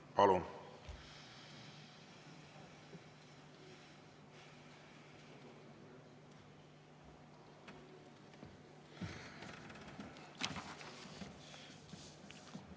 Palun!